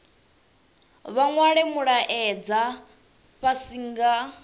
vha nwale mulaedza fhasi nga